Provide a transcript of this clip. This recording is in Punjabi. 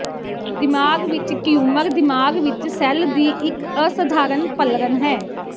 ਦਿਮਾਗ਼ ਵਿਚ ਟਿਊਮਰ ਦਿਮਾਗ ਵਿੱਚ ਸੈੱਲ ਦੀ ਇੱਕ ਅਸਧਾਰਨ ਪਲਰਨ ਹੈ